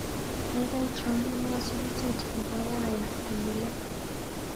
Kaikai trompenwa sukutit nebo Wyre konyilei.